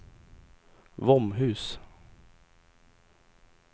Våmhus